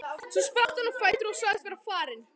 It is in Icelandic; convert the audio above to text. Svo spratt hann á fætur og sagðist vera farinn.